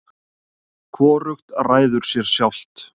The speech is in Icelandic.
hvorugt ræður sér sjálft